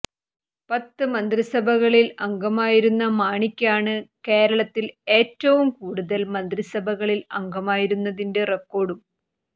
പത്ത് മന്ത്രിസഭകളിൽ അംഗമായിരുന്ന മാണിക്കാണ് കേരളത്തിൽ ഏറ്റവും കൂടുതൽ മന്ത്രിസഭകളിൽ അംഗമായിരുന്നതിന്റെ റെക്കോഡും